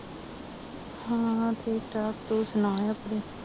ਹਾਂ ਠੀਕ ਠਾਕ ਤੂੰ ਸੁਣਾ ਆਪਣੀ